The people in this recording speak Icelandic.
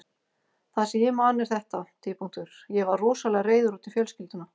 Það sem ég man er þetta: Ég var rosalega reiður út í fjölskylduna.